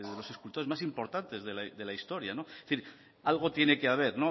los escultores más importantes de la historia algo tiene que haber